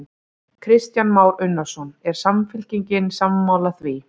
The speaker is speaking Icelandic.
Kristján Már Unnarsson: Er Samfylkingin sammála því?